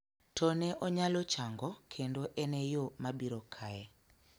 to ne onyalo chango kendo en e yo mabiro kae,